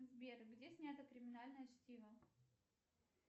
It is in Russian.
сбер где снято криминальное чтиво